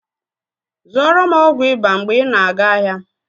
Zụọrọ m ọgwụ ịba mgbe ị na-aga ahịa!